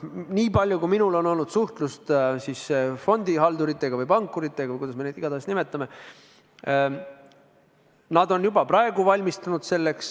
Nii palju, kui minul on olnud suhtlust fondihalduritega või pankuritega või kuidas iganes me neid ka ei nimeta, nad on juba praegu reformiks valmistunud.